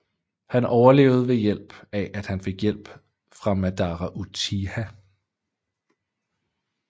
Han overlevede ved at han fik hjælp fra Madara Uchiha